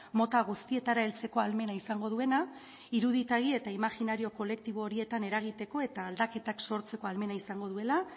mota guztietara heltzeko ahalmena izango duena iruditegi eta imaginario kolektibo horietan eragiteko eta aldaketak sortzeko ahalmena izango duela